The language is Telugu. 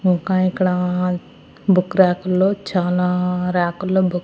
ఇంకా ఇక్కడ బుక్ రాకుల్లో చాలా రాకుల్లో బుక్ .